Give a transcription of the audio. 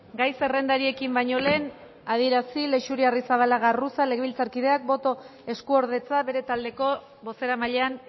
gai zerrendari ekin baino lehen adierazi leixuri arrizabalaga arruza legebiltzarkideak boto eskuordetza bere taldeko bozeramailean